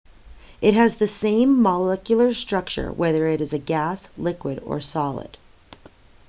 it has the same molecular structure whether it is a gas liquid or solid